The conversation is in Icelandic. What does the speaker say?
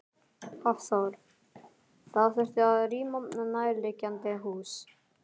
Hafþór: Það þurfti að rýma nærliggjandi hús?